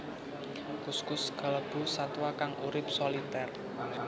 Kuskus kalebu satwa kang urip solitér